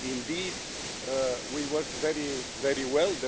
Indeed we worked very, very well.